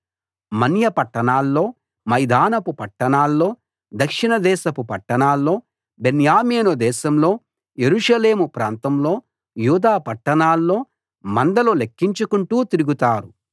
మన్య పట్టణాల్లో మైదానపు పట్టణాల్లో దక్షిణ దేశపు పట్టణాల్లో బెన్యామీను దేశంలో యెరూషలేము ప్రాంతంలో యూదా పట్టణాల్లో మందలు లెక్కించుకుంటూ తిరుగుతారు